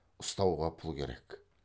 ұстауға пұл керек